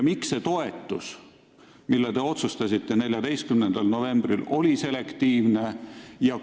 Miks see toetus, mille maksmise te otsustasite 14. novembril, oli selektiivne?